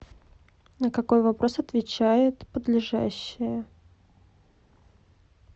на какой вопрос отвечает подлежащее